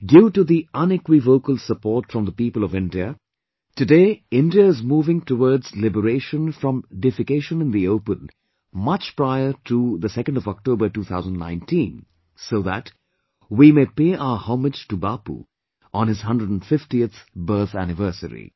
Due to the unequivocal support from the people of India, today India is moving towards liberation from defecation in the open much prior to October 2, 2019, so that we may pay our homage to Bapu on his 150th birth anniversary